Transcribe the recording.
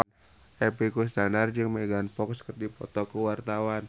Epy Kusnandar jeung Megan Fox keur dipoto ku wartawan